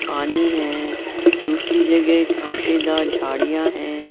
पानी हैं दूसरी जगह कांटेदार झाड़ियां हैं।